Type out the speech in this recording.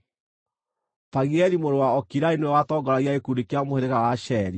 Pagieli mũrũ wa Okirani nĩwe watongoragia gĩkundi kĩa mũhĩrĩga wa Asheri,